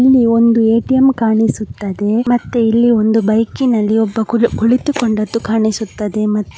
ಇಲ್ಲಿ ಒಂದು ಎ.ಟಿ.ಎಂ ಕಾಣಿಸುತ್ತದೆ ಮತ್ತು ಇಲ್ಲಿ ಒಂದು ಬೈಕಿ ನಲ್ಲಿ ಒಬ್ಬ ಕುಳಿತು ಕುಳಿತಿಕೊಂಡದ್ದು ಕಾಣಿಸುತ್ತದೆ ಮತ್ತು --